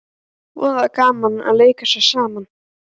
Voða gaman að leika sér saman